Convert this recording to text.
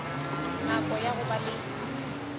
nako ya go ba le